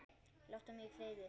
Láttu mig í friði!